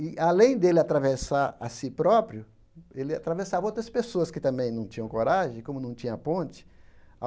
E, além dele atravessar a si próprio, ele atravessava outras pessoas que também não tinham coragem, como não tinha ponte.